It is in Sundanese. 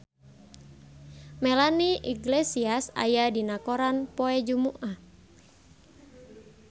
Melanie Iglesias aya dina koran poe Jumaah